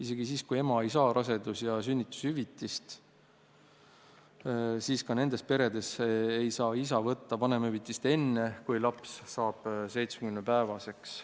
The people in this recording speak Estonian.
Isegi peredes, kus ema ei saa rasedus- ja sünnitushüvitist, ei saa isa võtta vanemahüvitist enne, kui laps saab 70-päevaseks.